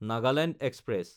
Nagaland express